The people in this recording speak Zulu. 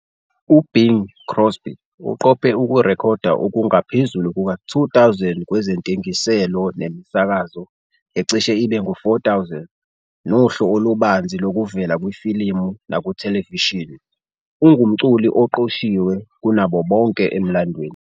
UBing Crosby uqophe ukurekhoda okungaphezulu kuka-2 000 kwezentengiselwano nemisakazo ecishe ibe ngu-4,000, nohlu olubanzi lokuvela kwifilimu nakuthelevishini, ungumculi oqoshiwe kunabo bonke emlandweni.